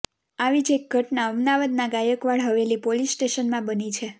આવી જ એક ઘટના અમદાવાદના ગાયકવાડ હવેલી પોલીસ સ્ટેશનમાં બની છે